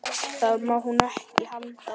Það má hún ekki halda.